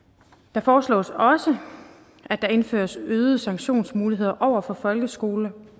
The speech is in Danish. det foreslås også at der indføres øgede sanktionsmuligheder over for folkeskoler